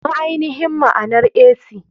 Ma ainihin maanar ac?